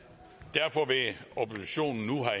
derfor vil oppositionen nu